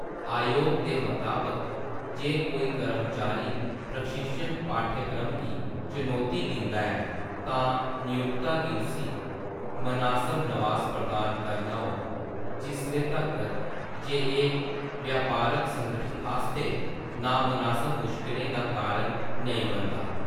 अयोग दे मताबक, जे कोई कर्मचारी प्रशिक्षण पाठ्यक्रम गी चनौती दिंदा ऐ तां नियोक्ता गी उस्सी मनासब नवास प्रदान करना होग जिसले तक्कर जे एह्‌‌ व्यापारक संगठन आस्तै नामनासब मुश्कलें दा कारण नेईं बनदा।